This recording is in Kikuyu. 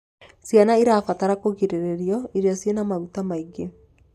Ciana irabatara kugiriririo iro ciĩna maguta maĩ ngi